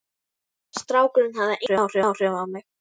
Strákurinn hafði engin áhrif á mig.